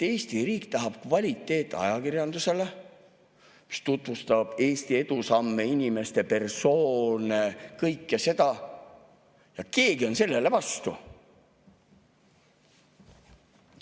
Eesti riik tahab kvaliteetajakirjandust, mis tutvustab Eesti edusamme, inimesi, kõike seda, ja keegi on sellele vastu.